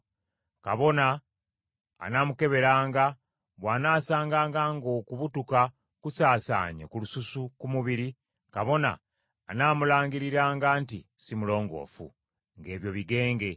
Kabona anaamukeberanga, bw’anaasanganga ng’okubutuka kusaasaanye ku lususu ku mubiri, kabona anaamulangiriranga nti si mulongoofu; ng’ebyo bigenge.